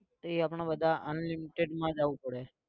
એ આપણે બધા unlimited માં જવું પડે.